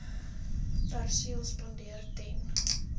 perseel spandeer ten